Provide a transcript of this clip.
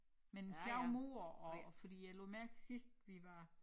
Men sjove mure og og fordi jeg lod mærke til sidst vi var